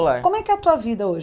como é que é a tua vida hoje?